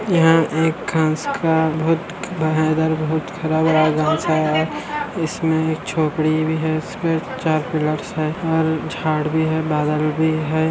यहाँ एक हंस का बोहोत ख़राब इसमें एक छोकरी भी है इसमें चार पिलर है और झाड़ भी है बादल भी है।